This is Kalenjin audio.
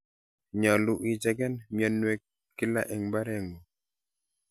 Nyolu icheken mionwokik kila en mbarengung.